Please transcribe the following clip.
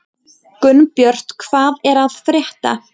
Gunnbjört, hvað er að frétta?